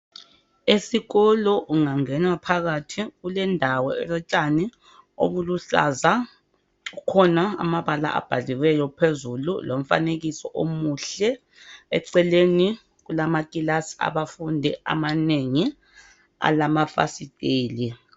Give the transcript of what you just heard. Esikolo ungangena phakathi kulendawo elotshani obuluhlaza. Kukhona amabala abhaliweyo phezulu, lomfanekiso omuhle. Eceleni kulamakilasi abafundi amanengi alamafasiteli.